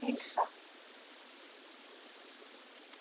Bið að heilsa.